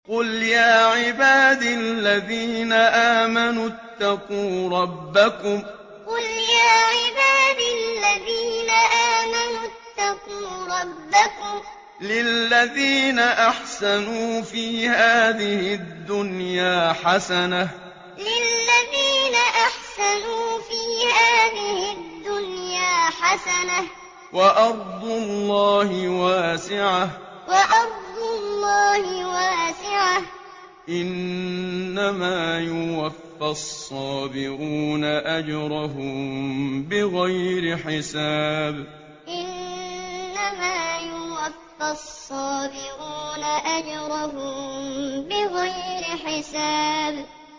قُلْ يَا عِبَادِ الَّذِينَ آمَنُوا اتَّقُوا رَبَّكُمْ ۚ لِلَّذِينَ أَحْسَنُوا فِي هَٰذِهِ الدُّنْيَا حَسَنَةٌ ۗ وَأَرْضُ اللَّهِ وَاسِعَةٌ ۗ إِنَّمَا يُوَفَّى الصَّابِرُونَ أَجْرَهُم بِغَيْرِ حِسَابٍ قُلْ يَا عِبَادِ الَّذِينَ آمَنُوا اتَّقُوا رَبَّكُمْ ۚ لِلَّذِينَ أَحْسَنُوا فِي هَٰذِهِ الدُّنْيَا حَسَنَةٌ ۗ وَأَرْضُ اللَّهِ وَاسِعَةٌ ۗ إِنَّمَا يُوَفَّى الصَّابِرُونَ أَجْرَهُم بِغَيْرِ حِسَابٍ